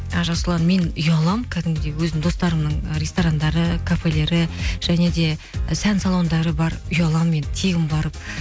ы жасұлан мен ұяламын кәдімгідей өзімнің достарымның ы ресторандары кафелері және де і сән салондары бар ұяламын мен тегін барып